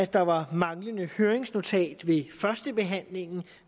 der var manglende høringsnotat ved førstebehandlingen